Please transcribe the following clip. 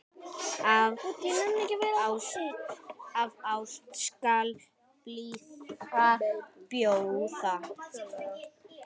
Af ást skal blíðuna bjóða.